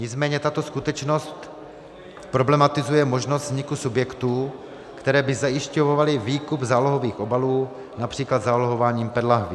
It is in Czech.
Nicméně tato skutečnost problematizuje možnost vzniku subjektů, které by zajišťovaly výkup zálohovaných obalů, například zálohováním PET lahví.